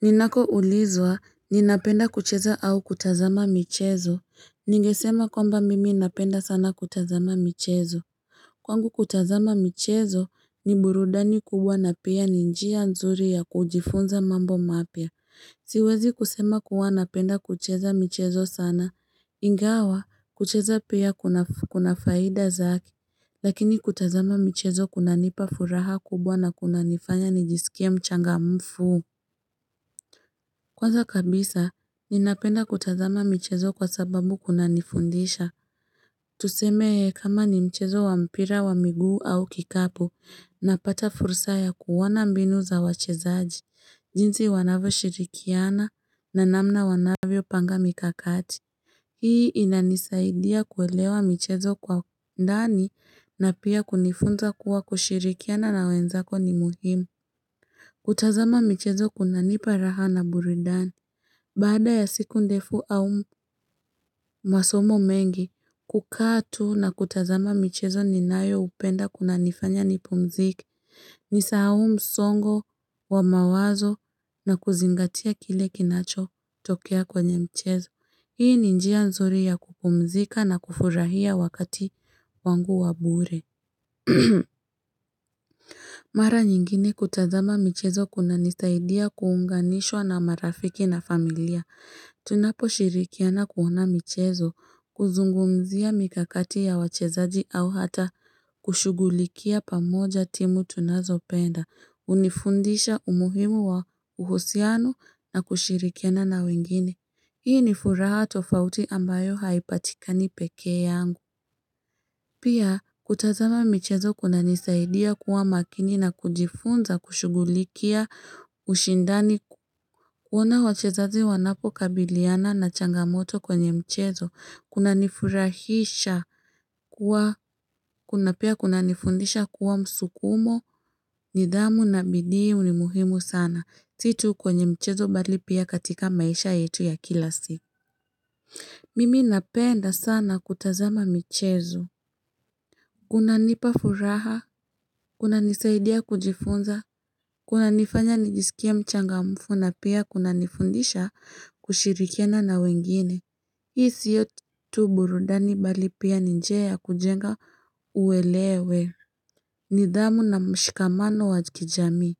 Ninakoulizwa, ninapenda kucheza au kutazama michezo. Ningesema kwamba mimi napenda sana kutazama michezo. Kwangu kutazama michezo ni burudani kubwa na pia ni njia nzuri ya kujifunza mambo mapya. Siwezi kusema kuwa napenda kucheza michezo sana. Ingawa, kucheza pia kuna faida zake. Lakini kutazama michezo kunanipa furaha kubwa na kunanifanya nijisikie mchangamfu. Kwanza kabisa, ninapenda kutazama michezo kwa sababu kunanifundisha. Tuseme kama ni mchezo wa mpira wa miguu au kikapu, napata fursa ya kuona mbinu za wachezaji, jinsi wanavyoshirikiana na namna wanavyopanga mikakati. Hii inanisaidia kuelewa michezo kwa ndani na pia kunifunza kuwa kushirikiana na wenzako ni muhimu. Kutazama michezo kunanipa raha na burudani. Baada ya siku ndefu au masomo mengi, kukaa tu na kutazama michezo ninayopenda kunanifanya nipumzike. Nisahau msongo wa mawazo na kuzingatia kile kinachotokea kwenye mchezo. Hii ni njia nzuri ya kupumzika na kufurahia wakati wangu wa bure. Mara nyingine kutazama michezo kunanisaidia kuunganishwa na marafiki na familia. Tunaposhirikiana kuona michezo, kuzungumzia mikakati ya wachezaji au hata kushughulikia pamoja timu tunazopenda, hunifundisha umuhimu wa uhusiano na kushirikiana na wengine. Hii ni furaha tofauti ambayo haipatikani peke yangu. Pia kutazama michezo kunanisaidia kuwa makini na kujifunza kushughulikia ushindani kuona wachezaji wanapokabiliana na changamoto kwenye mchezo kunanifurahisha kuwa kuna pia kunanifundisha kuwa msukumo, nidhamu na bidii ni muhimu sana si tu kwenye mchezo bali pia katika maisha yetu ya kila siku Mimi napenda sana kutazama michezo kunanipa furaha, kunanisaidia kujifunza, kunanifanya nijisikia mchangamfu na pia kunanifundisha kushirikena na wengine. Hii siyo tu burudani bali pia ni njia ya kujenga uelewa, nidhamu na mshikamano wa kijamii.